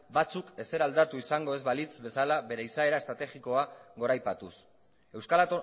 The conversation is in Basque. batzuk ezer aldatu izango ez balitz bezala bere izaera estrategikoa goraipatuz euskal